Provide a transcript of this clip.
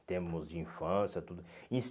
em termos de infância, tudo. E em